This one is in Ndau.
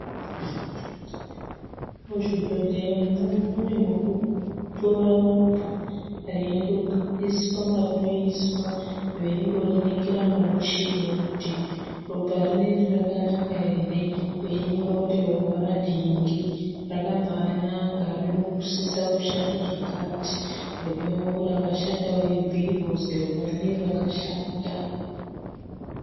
Muzvibhedhleyamwo mune mekutora ropa reindogariswa marinoiswa, veindoriningira ngomuchini kuti ropa rineri rakanaka here, veyinyora kuti ropa ranhingi rakambanaka rinosisa kushanda zvakati. Rimweniwo rakashata veibhuyirwa kuzi ropa rineri rakashata.